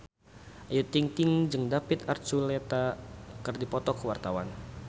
Ayu Ting-ting jeung David Archuletta keur dipoto ku wartawan